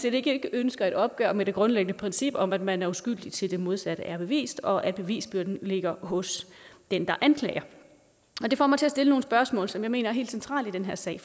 ikke ønsker et opgør med det grundlæggende princip om at man er uskyldig til det modsatte er bevist og at bevisbyrden ligger hos den der anklager det får mig til at stille nogle spørgsmål som jeg mener er helt centrale i den her sag